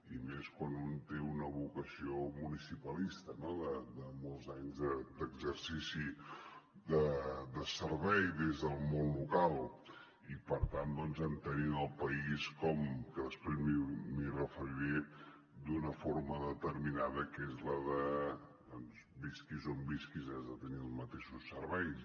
i més quan un té una vocació municipalista no de molts anys d’exercici de servei des del món local i per tant doncs entenent el país que després m’hi referiré d’una forma determinada que és la de que visquis on visquis has de tenir els mateixos serveis